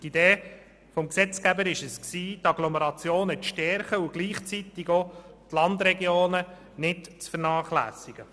Die Idee des Gesetzgebers war es, die Agglomerationen zu stärken und gleichzeitig auch die Landregionen nicht zu vernachlässigen.